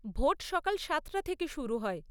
Vote সকাল সাতটা থেকে শুরু হয়।